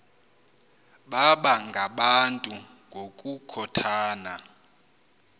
baba ngabantu ngokukhothana